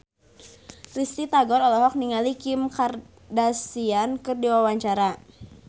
Risty Tagor olohok ningali Kim Kardashian keur diwawancara